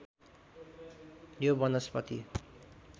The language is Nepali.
यो वनस्पति